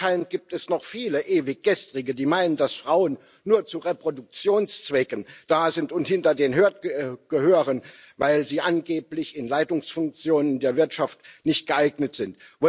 Anscheinend gibt es noch viele Ewiggestrige, die meinen, dass Frauen nur zu Reproduktionszwecken da sind und hinter den Herd gehören, weil sie angeblich für Leitungsfunktionen der Wirtschaft nicht geeignet sind.